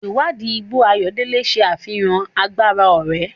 Ìwádìí igbó ayọ̀dele ṣe àfihàn agbára oore.